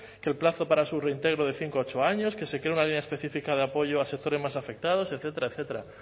que el plazo para su reintegro de cinco a ocho años que se cree una línea específica de apoyo a sectores más afectados etcétera etcétera